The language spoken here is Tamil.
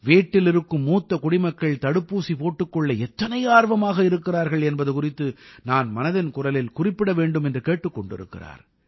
வீட்டில் இருக்கும் மூத்த குடிமக்கள் தடுப்பூசி போட்டுக் கொள்ள எத்தனை ஆர்வமாக இருக்கிறார்கள் என்பது குறித்து நான் மனதின் குரலில் குறிப்பிட வேண்டும் என்று கேட்டுக் கொண்டிருக்கிறார்